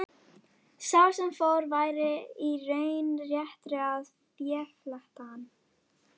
Sá sem fór væri í raun réttri að féfletta hann.